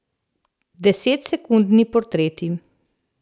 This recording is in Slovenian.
Desetsekundni portreti.